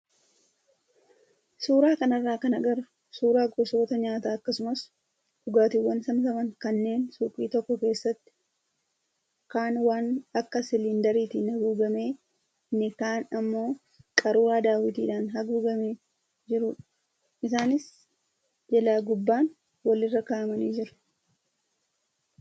Suuraa kanarraa kan agarru suuraa gosoota nyaataa akkasumas dhugaatiiwwan saamsaman kanneen suuqii tokko keessatti kaan waan akka siliindariitiin haguugamee inni kaan immoo qaruuraa daawwitiidhaan haguugamee jirudha. Isaanis jalaa gubbaan walirra kaa'amanii jiru.